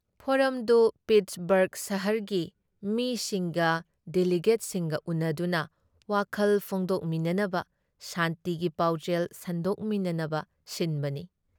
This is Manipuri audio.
ꯐꯣꯔꯝꯗꯨ ꯄꯤꯠꯁꯕꯔꯒ ꯁꯍꯔꯒꯤ ꯃꯤꯁꯤꯡꯒ ꯗꯤꯂꯤꯒꯦꯠꯁꯤꯡꯒ ꯎꯟꯅꯗꯨꯅ ꯋꯥꯈꯜ ꯐꯣꯡꯗꯣꯛꯃꯤꯅꯅꯕ ꯁꯥꯟꯇꯤꯒꯤ ꯄꯥꯎꯖꯦꯜ ꯁꯟꯗꯣꯛꯃꯤꯅꯅꯕ ꯁꯤꯟꯕꯅꯤ ꯫